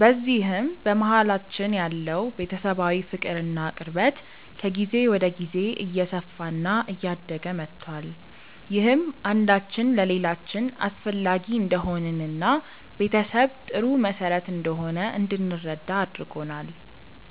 በዚህም በመሀላችን ያለው ቤተሰባዊ ፍቅር እና ቅርበት ከጊዜ ወደ ጊዜ እየሰፋ እና እያደገ መቷል። ይህም አንዳችን ለሌላችን አስፈላጊ እንደሆንን እና ቤተሰብ ጥሩ መሰረት እንደሆነ እንድንረዳ አድርጎናል።